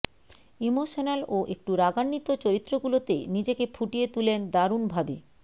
emotional ও একটু রাগান্বিত চরিত্রগুলোতে নিজেকে ফুটিয়ে তুলেন দারুণভাবে